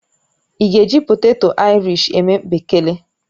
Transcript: Ị́ ga-eji poteto airish eme mpekere?